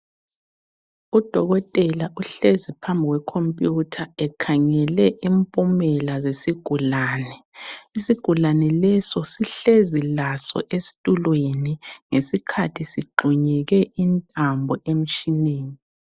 Udokotela uhlezi phambi kwe computer ekhangele impumela zesigulane. Isigulane leso sihlezi laso esitulweni ngesikhathi sigxunyekwe intambo emtshineni.